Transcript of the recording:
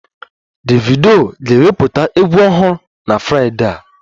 Davido ga-ewepụta egwu ọhụrụ na Fraịdee a